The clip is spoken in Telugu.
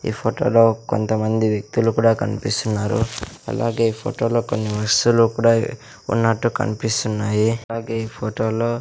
ఈ ఫోటో లో కొంత మంది వ్యక్తులు కూడా కనిపిస్తున్నారు అలాగే ఈ ఫోటో లో కొన్ని వస్తువు లు కూడా వున్నట్టు కనిపిస్తున్నాయి అలాగే ఈ ఫోటో లో --